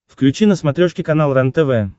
включи на смотрешке канал рентв